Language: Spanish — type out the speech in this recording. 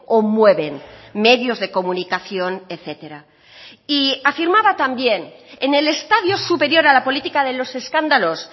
o mueven medios de comunicación etcétera y afirmaba también en el estadio superior a la política de los escándalos